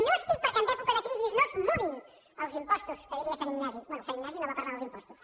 no estic perquè en època de crisi no es mudin els impostos que diria sant ignasi bé sant ignasi no va parlar dels impostos